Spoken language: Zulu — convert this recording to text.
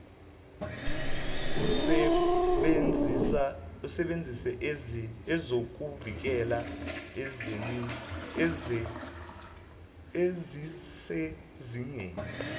usebenzise ezokuvikela ezisezingeni